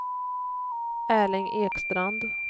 Erling Ekstrand